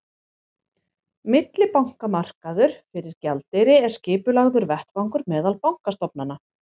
Millibankamarkaður fyrir gjaldeyri er skipulagður vettvangur meðal bankastofnana.